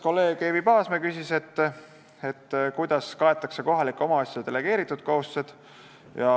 Kolleeg Eevi Paasmäe küsis, kuidas kaetakse kohalikele omavalitsusele delegeeritud kohustused.